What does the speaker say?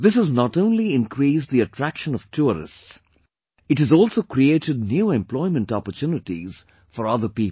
This has not only increased the attraction of tourists; it has also created new employment opportunities for other people